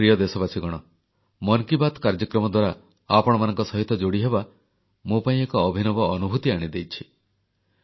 ମୋର ପ୍ରିୟ ଦେଶବାସୀଗଣ ମନ କି ବାତ୍ କାର୍ଯ୍ୟକ୍ରମ ଦ୍ୱାରା ଆପଣମାନଙ୍କ ସହିତ ଯୋଡ଼ିହେବା ମୋ ପାଇଁ ଏକ ଅଭିନବ ଅନୁଭୂତି ଆଣିଦେଇଛି